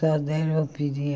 Só deram